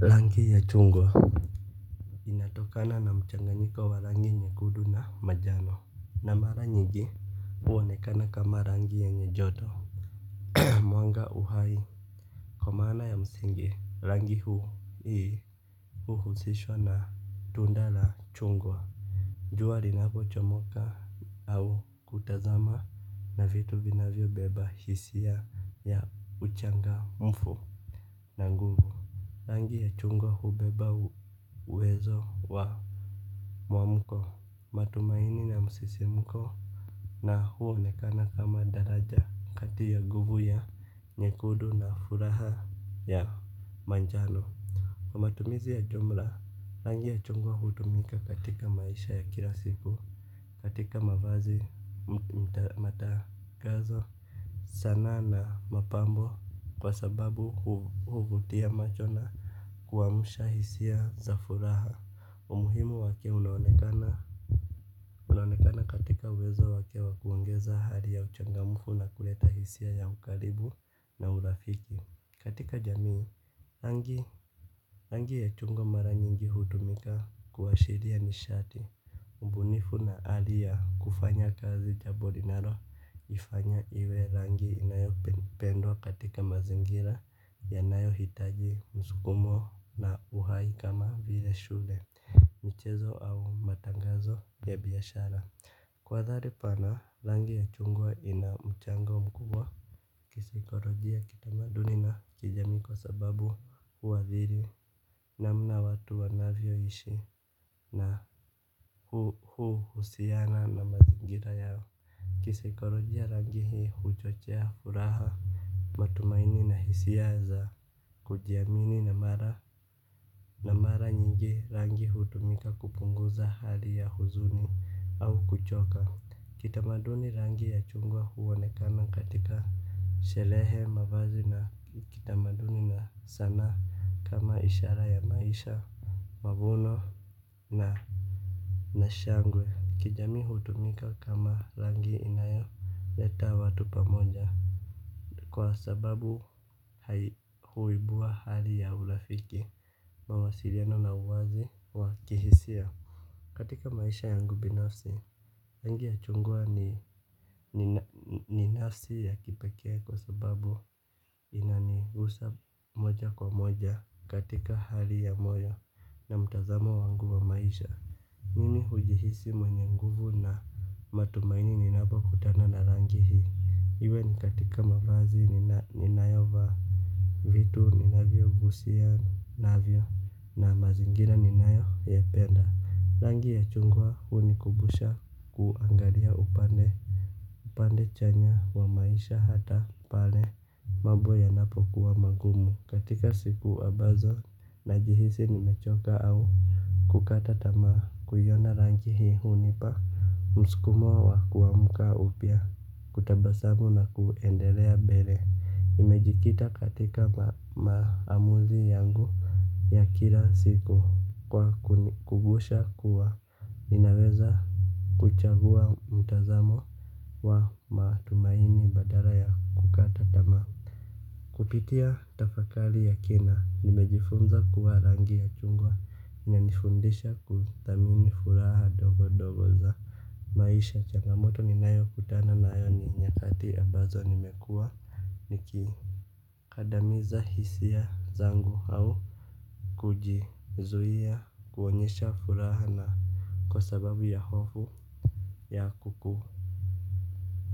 Rangi ya chungwa inatokana na mchanganyiko wa rangi nyekundu na manjano. Na mara nyingi huonekana kama rangi yenye joto. Mwanga uhai. Kwa maana ya msingi rangi huu, hi, huhusishwa na tunda la chungwa. Juwa linapochomoka au kutazama na vitu vinavyobeba hisia ya uchangamfu. Na nguvu rangi ya chungwa hubeba uwezo wa mwamuko matumaini, na misisimko na huonekana kama daraja kati ya nguvu ya nyekundu na furaha ya manjano kwa matumizi ya jumla. Rangi ya chungwa hutumika katika maisha ya kila siku. Katika mavazi matangazo sanaa na mapambo kwa sababu huvutia macho na kuwamusha hisia za furaha. Umuhimu wake unaonekana katika uwezo wake wakuongeza hali ya uchangamufu na kuleta hisia ya ukaribu na urafiki. Katika jamii rangi ya chungwa mara nyingi hutumika kuwashiria nishati. Mbunifu na hali ya kufanya kazi jambo linalo ifanya iwe rangi inayo pendwa katika mazingira yanayo hitaji msukumo na uhai kama vile shule michezo au matangazo ya biashara. Kwa athari pana rangi ya chungwa inamuchango mkubwa kisaikolojia, kitamaduni na kijamii kwa sababu huathiri namna watu wanavyo ishi na hu husiana na mazingira ya kisaikolojia rangi huchochea furaha. Matumaini na hisia za kujiamini na mara nyingi rangi hutumika kupunguza hali ya huzuni au kuchoka kitamaduni rangi ya chungwa huonekana katika sherehe, mavazi na kitamaduni na sanaa kama ishara ya maisha, mavuno na nashangwe. Kijamii hutumika kama rangi inayoleta watu pamoja. Kwa sababu huibua hali ya urafiki mawasiliano na uwazi wa kihisia. Katika maisha yangu binafsi, rangi ya chungwa ni nafsi ya kipekee kwa sababu inanigusa moja kwa moja katika hali ya moyo na mtazamo wangu wa maisha. Mimi hujihisi mwenye nguvu na matumaini ninapo kutana na rangi hii. Iwe ni katika mavazi ninayo vaa. Vitu ninavyo gusia navyo na mazingira ninayo yapenda rangi ya chungwa huni kumbusha kuangalia upande, upande chanya wa maisha hata pale mambo yanapo kuwa magumu. Katika siku wa ambazo na jihisi nimechoka au kukata tamaa kuiyona rangi hii hunipa musikumo wa kuamuka upya kutabasamu na kuendelea mbele. Imejikita katika maamuzi yangu ya kila siku kwa kunikumbusha kuwa ninaweza kuchaguwa mtazamo wa matumaini badala ya kukata tamaa kupitia tafakari ya kina nimejifunza kuwa rangi ya chungwa inanifundisha kuthamini furaha ndogo ndogo za maisha changamoto ni nayo kutana nayo ni nyakati ambazo nimekuwa niki kandamiza hisiya zangu au kuji zuia kuonyesha furaha na kwa sababu ya hofu ya kuku